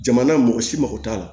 Jamana mɔgɔ si mako t'a la